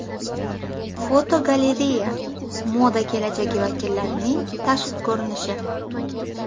Fotogalereya: Moda kelajagi vakillarining tashqi ko‘rinishi.